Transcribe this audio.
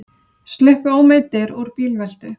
Sluppu ómeiddir úr bílveltu